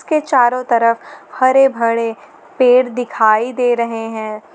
के चारों तरफ हरे भरे पेड़ दिखाई दे रहे हैं।